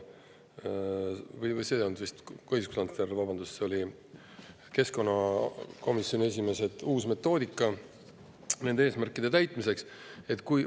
Vabandust, see ei olnud vist õiguskantsler, see oli vist keskkonnakomisjoni esimees, kes mainis, et on uus metoodika nende eesmärkide täitmise.